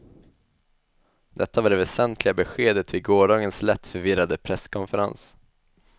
Detta var det väsentliga beskedet vid gårdagens lätt förvirrade presskonferens.